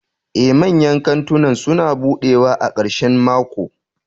Ee, manyan kantunan suna buɗewa a ƙarshen mako.